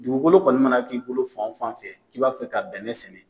Dugukolo kɔni mana k'i bolo fan o fan fɛ k'i b'a fɛ ka bɛnɛ sɛnɛ